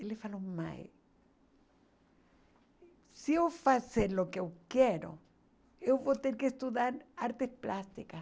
Ele falou, mãe, se eu fazer o que eu quero, eu vou ter que estudar artes plásticas.